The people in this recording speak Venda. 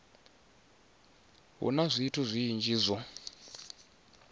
hu na zwithu zwinzhi zwo